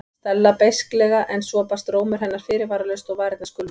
Stella beisklega en svo brast rómur hennar fyrirvaralaust og varirnar skulfu.